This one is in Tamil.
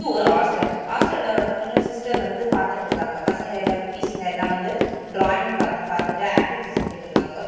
ஒரு ஹாஸ்டல் ஹாஸ்டல்ல வர்த்வ்ங்க சிஸ்டர் வந்து பாத்துட்ருக்காங்க பசங்க எல்லா குட்டீஸ்ங்க எல்லா வந்து ட்ராயிங் பாத்து பாத்துட்டு ஆக்டிவிட்டி செஞ்சிட்டுருக்காங்க ஒருத்த--